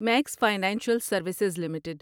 Max financial services limited